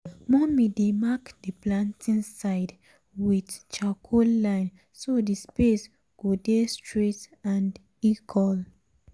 mummy dey mark the planting side um with um charcoal line so the space go dey straight and equal. um